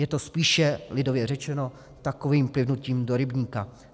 Je to spíše, lidově řečeno, takovým plivnutím do rybníka.